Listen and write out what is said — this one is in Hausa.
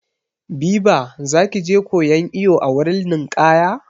Biba za ki je koyan iwo a wurin ninƙaya?